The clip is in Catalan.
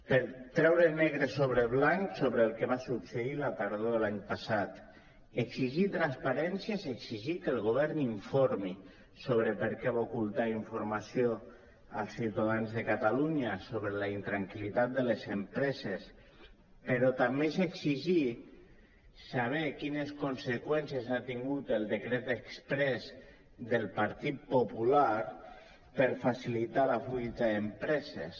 per treure negre sobre blanc sobre el que va succeir la tardor de l’any passat exigir transparència és exigir que el govern informi sobre per què va ocultar informació als ciutadans de catalunya sobre la intranquil·litat de les empreses però també és exigir saber quines conseqüències ha tingut el decret exprés del partit popular per facilitar la fuita d’empreses